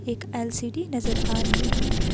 एक एल_सी_डी नजर आ रही है।